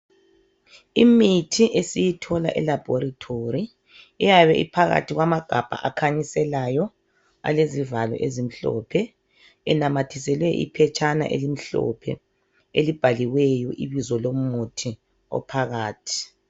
Imithi esiyithola elabhorithori .Iyabe iphakathi kwamagabha akhanyiselayo alezivalo ezimhlophe enamathiselwe iphetshana elimhlophe elibhaliweyo ibizo lomuthi ophakathi .